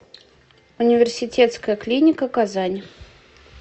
университетская клиника казань